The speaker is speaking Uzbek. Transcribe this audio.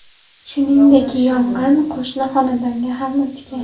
Shuningdek, yong‘in qo‘shni xonadonga ham o‘tgan.